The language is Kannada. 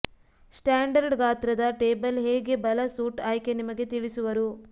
ಸ್ಟ್ಯಾಂಡರ್ಡ್ ಗಾತ್ರದ ಟೇಬಲ್ ಹೇಗೆ ಬಲ ಸೂಟ್ ಆಯ್ಕೆ ನಿಮಗೆ ತಿಳಿಸುವರು